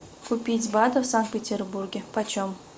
купить баты в санкт петербурге почем